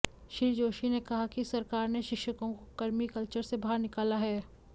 श्री जोशी ने कहा कि सरकार ने शिक्षकों को कर्मी कल्चर से बाहर निकाला है